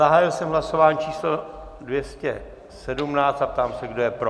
Zahájil jsem hlasování číslo 217 a ptám se, kdo je pro.